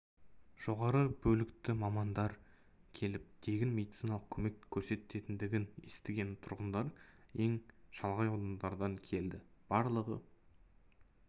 жоғары білікті мамандар келіп тегін медициналық көмек көрсететіндігін естіген тұрғындар ең шалғай аудандардан келді барлығы